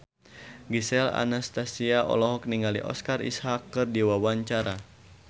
Gisel Anastasia olohok ningali Oscar Isaac keur diwawancara